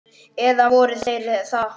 Eða voru þeir það?